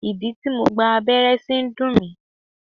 Ìdí tí mo gba abẹ́rẹ́ sí ń dùn mí.